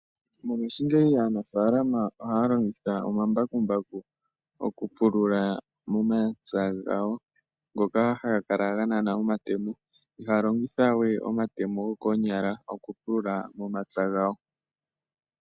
Mongashingeyi aanafalama ohaya longitha omambakumbaku oku pulula momapya gawo ngoka haga kala ga nana omatemo ihaya longitha we omatemo gokoonyala oku pulula omapya gawo.